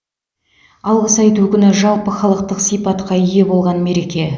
алғыс айту күні жалпыхалықтық сипатқа ие болған мереке